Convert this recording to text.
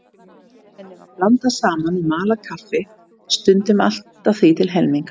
Henni var blandað saman við malað kaffi, stundum allt að því til helminga.